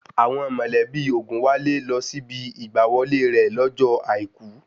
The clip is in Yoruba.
Àwọn mọ̀lẹ́bí Ògùnwálé lọ síbi ìgbà wọlé rẹ̀ lọ́jọ́ àìkú